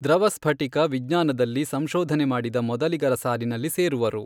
ದ್ರವ ಸ್ಫಟಿಕ ವಿಜ್ಞಾನದಲ್ಲಿ ಸಂಶೊಧನೆ ಮಾಡಿದ ಮೊದಲಿಗರ ಸಾಲಿನಲ್ಲಿ ಸೇರುವರು.